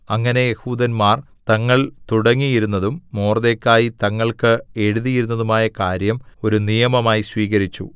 അങ്ങനെ യെഹൂദന്മാർ തങ്ങൾ തുടങ്ങിയിരുന്നതും മൊർദെഖായി തങ്ങൾക്ക് എഴുതിയിരുന്നതുമായ കാര്യം ഒരു നിയമമായി സ്വീകരിച്ചു